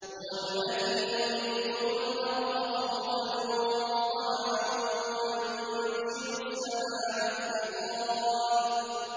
هُوَ الَّذِي يُرِيكُمُ الْبَرْقَ خَوْفًا وَطَمَعًا وَيُنشِئُ السَّحَابَ الثِّقَالَ